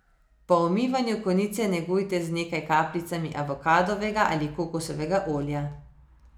Po umivanju konice negujte z nekaj kapljicami avokadovega ali kokosovega olja.